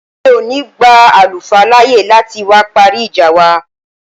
Mi ò ní gba àlùfáà láàyè láti wá parí ìjà wa